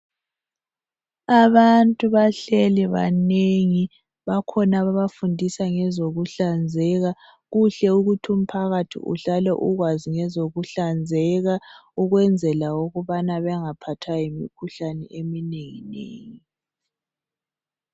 abantu bahleli banengi bakhona ababafundisa ngokuhlanzeka kuhle ukuthi umphakathi uhlale ukwazi ngezokuhlanzeka ukwenzela ukubana bengaphathwa yimikhuhlane eminenginengi